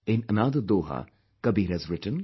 In another doha, Kabir has written